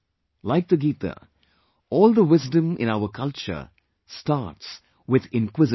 Like the Gita, all the wisdom in our culture starts with inquisitiveness